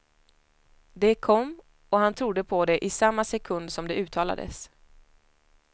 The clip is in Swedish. Det kom, och han trodde på det i samma sekund som det uttalades.